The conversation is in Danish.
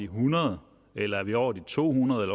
hundrede eller er det over to hundrede